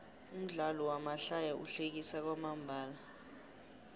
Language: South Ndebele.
umdlalo wamahlaya uhlekisa kwamambala